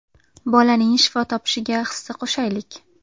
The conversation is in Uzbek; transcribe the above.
Bolaning shifo topishiga hissa qo‘shaylik!.